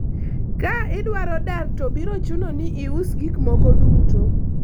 ka idwaro dar to biro chuno ni ius gik moko duto